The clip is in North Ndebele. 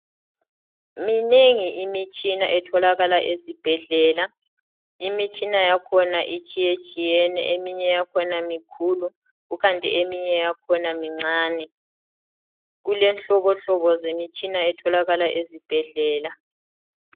Minengi imtshina etholakala esibhedlela, imitshina yakhona itshiyetshiyene eminye yakhona mikhulu kukanti eminye yakhona mincane. Kulenhlobonhlobo zemitshina etholakala esibhedlela.